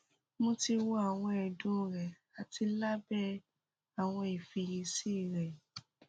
mo ti wo awọn ẹdun rẹ ati labẹ awọn ifiyesi rẹ